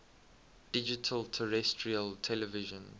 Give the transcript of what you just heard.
digital terrestrial television